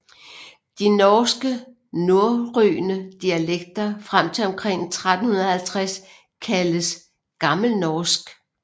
De norske norrøne dialekter frem til omkring 1350 kaldes gammelnorsk